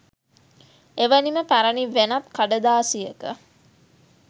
එවැනිම පැරණි වෙනත් කඩදාසියක